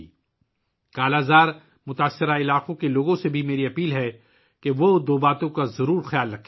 میں 'کالا آزار' سے متاثرہ علاقوں کے لوگوں سے بھی درخواست کرتا ہوں کہ وہ دو باتوں کو ذہن میں رکھیں